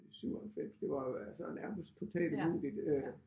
97 det var jo altså nærmest totalt umuligt øh